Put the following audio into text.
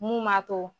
Mun b'a to